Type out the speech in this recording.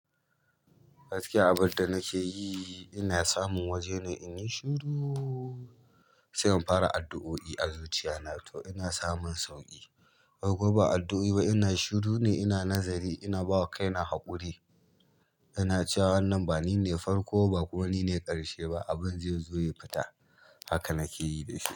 Gaskiya abin da nake yi, ina samun waje ne in yi shiru, sai in fara addu'o'i a zuciya na to ina samun sauƙi. A ko ba addu'a ba, ina shiru ne, ina nazari, ina bawa kaina haƙuri, ina cewa wannan ba ni ne farko ba kuma ni ne ƙarshe ba, abin zai zo ya fita. Haka na ke yi da shi.